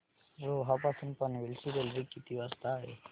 रोहा पासून पनवेल ची रेल्वे किती वाजता आहे